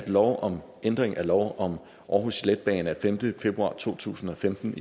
lov om ændring af lov om aarhus letbane af femte februar to tusind og femten